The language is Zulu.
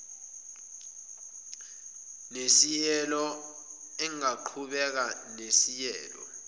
nesieelo angaqhubeka nesieelo